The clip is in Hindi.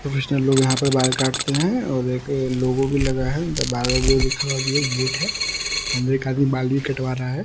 प्रोफेशनल लोग यहा पे बाल काटते है और एक लोगो भी लगा है लिखा हुआ भी एक गेट है अंदर एक आदमी बाल भी कटवा रहा है ।